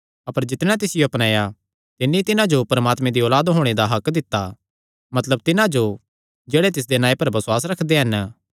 अपर जितणेयां तिसियो अपनाया तिन्नी तिन्हां जो परमात्मे दी औलाद होणे दा हक्क दित्ता मतलब तिन्हां जो जेह्ड़े तिसदे नांऐ पर बसुआस रखदे हन